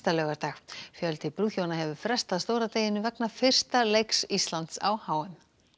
laugardag fjöldi brúðhjóna hefur frestað stóra deginum vegna fyrsta leiks Íslands á h m